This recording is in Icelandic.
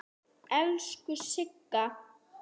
Elsku Sigga.